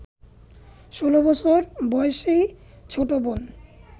১৬ বছর বয়সী ছোট বোন